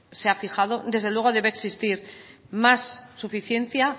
se ha fijado desde luego debe existir más suficiencia